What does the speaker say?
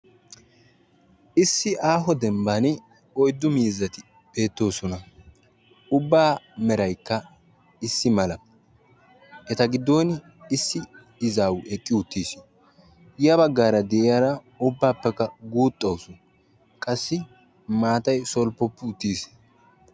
Issi aaho dembban uyiddu miizzati beettoosona; ubbaa merayikka issimala; eta gidooni issi izaawu eqi uttisi; yabaggara di'iyaara ubaappekka guuxawusu; qassi maatay solppoppi uttis.